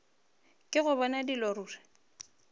ke go bona dilo ruri